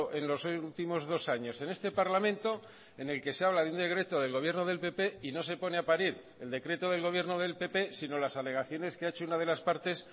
en los últimos dos años en este parlamento en el que se habla de un decreto del gobierno del pp y no se pone a parir el decreto del gobierno del pp sino las alegaciones que ha hecho una de las partes